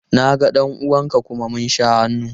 Na ga ɗan uwan ka kuma mun sha hannu.